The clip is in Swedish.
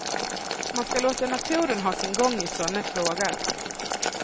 Man ska låta naturen ha sin gång i sådana frågor.